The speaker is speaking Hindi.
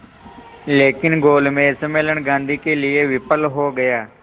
लेकिन गोलमेज सम्मेलन गांधी के लिए विफल हो गया